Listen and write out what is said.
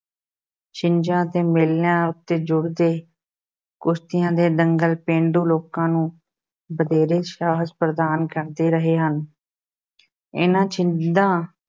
ਛਿੰਝਾਂ ਅਤੇ ਮੇਲਿਆਂ ਉੱਤੇ ਜੁੜਦੇ ਕੁਸ਼ਤੀਆਂ ਦੇ ਦੰਗਲ ਪੇਂਡੂ ਲੋਕਾਂ ਨੂੰ ਵਧੇਰੇ ਸਾਹਸ ਪ੍ਰਦਾਨ ਕਰਦੇ ਰਹੇ ਹਨ ਇਹਨਾਂ ਛਿੰਝਾਂ